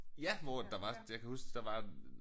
Ja hvor at der var jeg kan huske der var øh